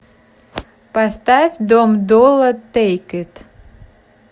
поставь дом долла тэйк ит